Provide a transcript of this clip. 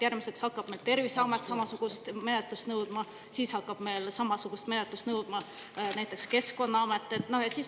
Järgmiseks hakkaks meil Terviseamet samasugust menetlust nõudma, siis hakkaks samasugust menetlust nõudma näiteks Keskkonnaamet.